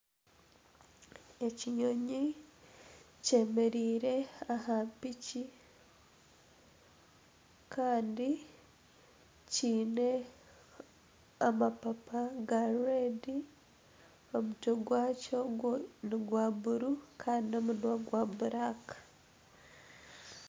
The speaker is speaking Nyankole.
Ekinyonyi kyemereire aha piki kandi kiine amapapa gareedi omutwe gwakyo nigwa buru kandi n'omunwa gwakyo nigwa buraaka